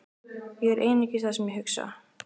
Ég er einungis það sem ég hugsa.